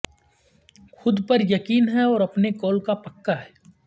خود پر یقین ہے اور اپنے قول کا پکا ہے